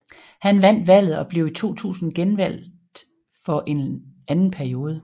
Han vandt valget og blev i 2000 genvalget for en anden periode